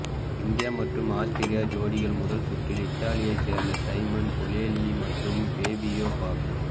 இந்திய மற்றும் ஆஸ்திரிய ஜோடி முத ல் சுற்றில் இத்தாலியைச் சேர்ந்த சைமன் பொலேலி மற்றும் பேபியோ பாக்